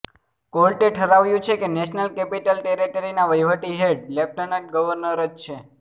કોર્ટે ઠરાવ્યું છે કે નેશનલ કેપિટલ ટેરિટરીના વહીવટી હેડ લેફ્ટનન્ટ ગવર્નર જ છે